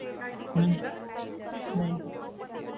आणि काय किलो माहिती आहे का तीस रुपये?